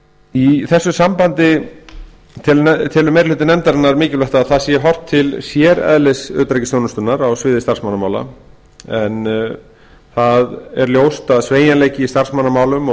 í þessu sambandi telur meiri hluti nefndarinnar eðlilegt að það sé horft til séreðlis utanríkisþjónustunnar á sviði starfsmannamála á það er ljóst að sveigjanleiki í starfsmannamálum og